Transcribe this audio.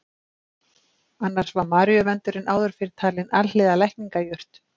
Annars var maríuvöndurinn áður fyrr talinn alhliða lækningajurt.